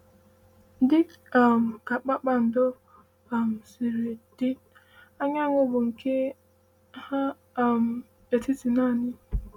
“Dị um ka kpakpando um si dị, anyanwụ bụ nke nha um etiti naanị.”